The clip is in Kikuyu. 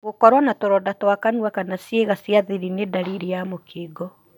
Gũkorwo na tũronda twa kanua kana cĩiga cia thiri nĩ ndaririr ya mũkingo.